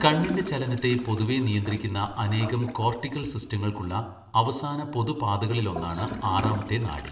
കണ്ണിന്റെ ചലനത്തെ പൊതുവെ നിയന്ത്രിക്കുന്ന അനേകം കോർട്ടിക്കൽ സിസ്റ്റങ്ങൾക്കുള്ള അവസാന പൊതു പാതകളിലൊന്നാണ് ആറാമത്തെ നാഡി.